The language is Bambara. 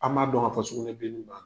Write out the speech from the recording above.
An man dɔn ka fɔ sugunɛbileni